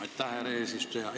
Aitäh, härra eesistuja!